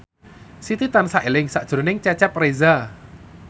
Siti tansah eling sakjroning Cecep Reza